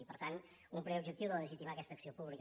i per tant un primer objectiu de legitimar aquesta acció pública